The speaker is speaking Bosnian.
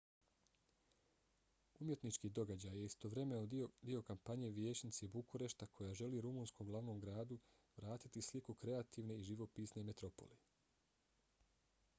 umjetnički događaj je istovremeno dio kampanje vijećnice bukurešta koja želi rumunskom glavnom gradu vratiti sliku kreativne i živopisne metropole